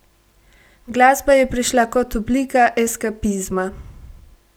Glasba je prišla kot oblika eskapizma.